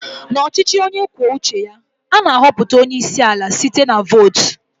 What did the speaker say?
N'ọchịchị onye kwuo uche ya, a na-ahọpụta onye isi ala site na-vot.